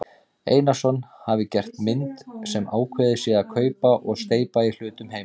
Einarsson hafi gert mynd sem ákveðið sé að kaupa og steypa í hlutum heima.